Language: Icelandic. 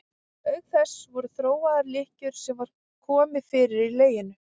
Auk þess voru þróaðar lykkjur sem var komið fyrir í leginu.